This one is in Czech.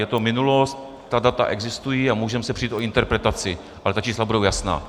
Je to minulost, ta data existují a můžeme se přít o interpretaci, ale ta čísla budou jasná.